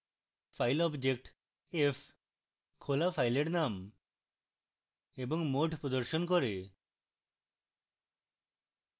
file object f খোলা file নাম এবং mode প্রদর্শন করে